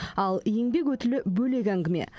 ал еңбек өтілі бөлек әңгіме